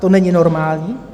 To není normální.